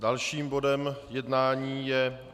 Dalším bodem jednání je